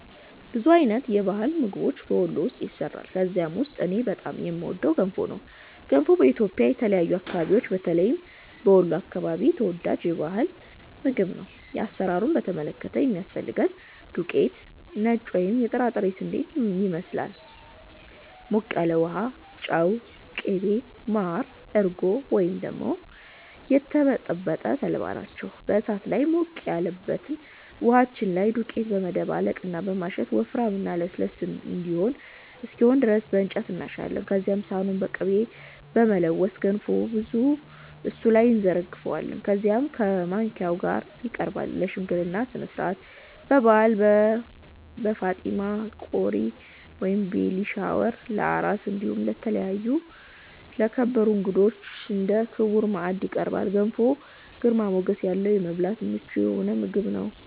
ብዙ አይነት የባህላዊ ምግቦች በ ወሎ ውስጥ ይሰራሉ። ከነዛ ውስጥ እኔ በጣም የምወደው ገንፎ ነው። ገንፎ በኢትዮጵያ የተለያዩ አከባቢዎች በተለይም በ ወሎ አከባቢ ተወዳጅ የ ባህል ምግብ ነው። አሰራሩን በተመለከተ የሚያስፈልገን ዱቄት(ነጭ ወይም የጥራጥሬ ስንዴን ይመስል)፣ ሞቅ ያለ ውሃ፣ ጨው፣ ቅቤ፣ ማር፣ እርጎ ወይም ደግሞ የተበጠበጠ ተልባ ናቸው። በ እሳት ላይ ሞቅ ያለበት ውሃችን ላይ ዱቄታችንን በማደባለቅ እና በማሸት ወፍራም እና ለስላሳ እስከሚሆን ድረስ በ እንጨት እናሻለን። ከዚያም ሰሃኑን በ ቅቤ በመለወስ ገንፎውን እሱ ላይ እንዘረግፈዋለን። ከዚያም ከ ማባያው ጋ ይቀርባል። ለ ሽምግልና ስነስርዓት፣ በ በዓል፣ በ ፋጢማ ቆሪ(ቤቢ ሻወር) ፣ለ አራስ እንዲሁም ለተከበሩ እንግዳዎች እንደ ክቡር ማዕድ ይቀርባል። ገንፎ ግርማ ሞገስ ያለው እና ለመብላት ምቹ የሆነ ምግብ ነው።